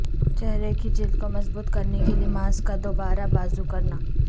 چہرے کی جلد کو مضبوط کرنے کے لئے ماسک کا دوبارہ بازو کرنا